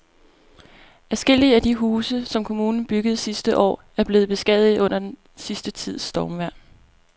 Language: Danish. Adskillige af de huse, som kommunen byggede sidste år, er blevet beskadiget under den sidste tids stormvejr.